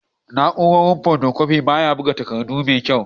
Na'uran fotokofi baya buga takardu da kyau.